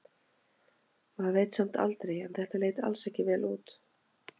Maður veit samt aldrei en þetta leit alls ekki vel út.